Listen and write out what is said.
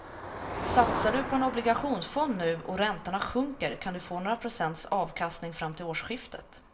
Satsar du på en obligationsfond nu och räntorna sjunker kan du få några procents avkastning fram till årsskiftet.